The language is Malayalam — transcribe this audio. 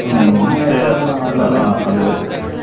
അതേ അതേ